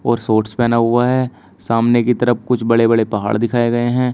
और शॉर्ट्स पहना हुआ है सामने की तरफ कुछ बड़े बड़े पहाड़ दिखाएं गए हैं।